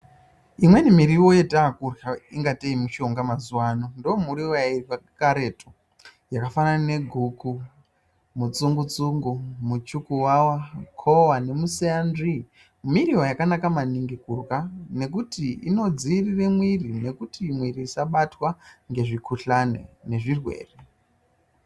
Imweni miriwo yatakurya ingateyi mishonga mazuano ndomiriwo yairyiwa karetu yakafanana neguku, mutsungutsungu, muchukuwawa, kowa nemuseya nzvii, miriwo yakanaka maningi kurya nekuti inodziirire mwiri ngekuti mwiri isabtwa ngezvihkuhlani nezvirwere.